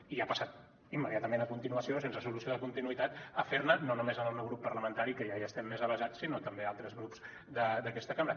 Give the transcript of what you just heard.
i ha passat immediatament a continuació sense solució de continuïtat a fer ne no només al meu grup parlamentari que ja hi estem més avesats sinó també a altres grups d’aquesta cambra